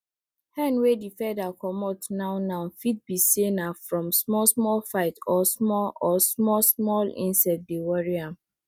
hen wey di feather comot now now fit be say na from small small fight or small or small small insects dey worry am